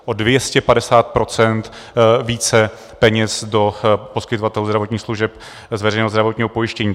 O 250 % více peněz do poskytovatelů zdravotních služeb z veřejného zdravotního pojištění.